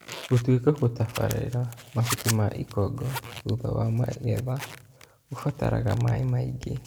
Gũtuĩka gũtabalĩla mahuti ma ikongo thutha wa magetha gũbataraga maĩĩ maingĩ